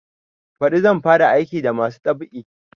Baɗi zan fara aiki da masu dab'i